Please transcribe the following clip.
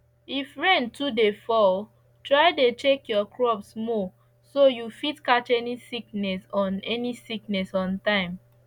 if rain too dey fall try dey check your crops more so you fit catch any sickness on any sickness on time